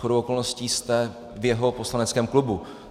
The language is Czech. Shodou okolností jste v jeho poslaneckém klubu.